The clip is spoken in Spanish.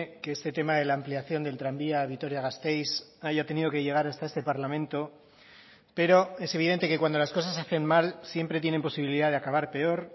que este tema de la ampliación del tranvía a vitoria gasteiz haya tenido que llegar hasta este parlamento pero es evidente que cuando las cosas se hacen mal siempre tienen posibilidad de acabar peor